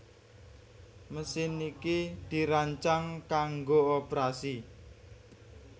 Mesin iki dirancang kanggo oprasi